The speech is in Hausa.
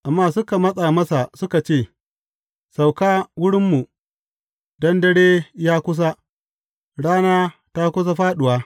Amma suka matsa masa suka ce, Sauka wurinmu, don dare ya kusa, rana ta kusa fāɗuwa.